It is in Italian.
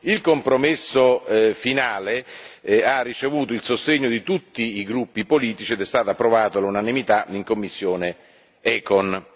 Il compromesso finale ha ricevuto il sostegno di tutti i gruppi politici ed è stato approvato all'unanimità in commissione ECON.